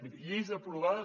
miri lleis aprovades